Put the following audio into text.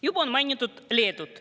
Juba on mainitud Leedut ...